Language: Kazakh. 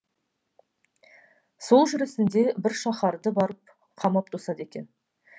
сол жүрісінде бір шаһарды барып қамап тосады екен